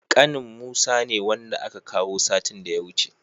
Ƙanin musa ne, wanda aka kawo satin da ya wuce.